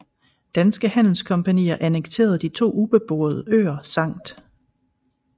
Danske handelskompagnier annekterede de to ubeboede øer Skt